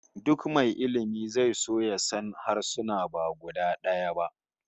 Duk mai ilmi zai so ya san harsuna ba guda daya ba